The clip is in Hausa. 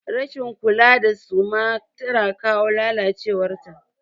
Rashin kula da suma tana kawo lalacewar ta.